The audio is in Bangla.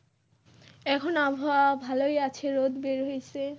এখন আবহাওয়া ভালোই আছে রোদ বের হইসে।